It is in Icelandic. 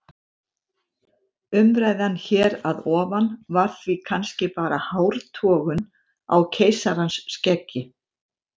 Umræðan hér að ofan var því kannski bara hártogun á keisarans skeggi.